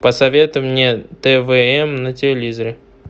посоветуй мне твм на телевизоре